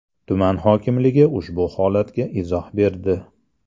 Tuman hokimligi ushbu holatga izoh berdi.